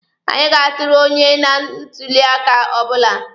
Anyị ga-atụrụ otu onye na ntuli aka ọbụla.